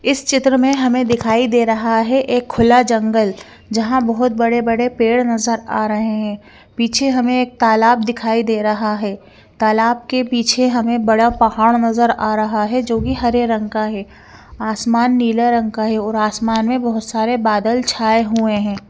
इस चित्र में हमे दिखाई दे रहा है एक खुला जंगल जहा बहोत बड़े बड़े पेड़ नज़र आ रहे है पीछे हमे एक तालाब दिखाई दे रहा है तालाब के पीछे हमे बड़ा पहाड़ नज़र आ रहा है जो कि हरे रंग का है आसमान नीला रंग का है और आसमान में बहोत सारे बादल छाए हुए है।